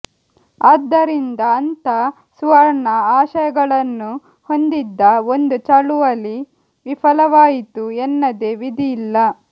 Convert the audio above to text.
ಆದ್ದರಿಂದ ಅಂಥ ಸುವರ್ಣ ಆಶಯಗಳನ್ನು ಹೊಂದಿದ್ದ ಒಂದು ಚಳುವಳಿ ವಿಫಲವಾಯಿತು ಎನ್ನದೆ ವಿಧಿ ಇಲ್ಲ